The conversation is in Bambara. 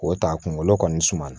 K'o ta kunkolo kɔni suma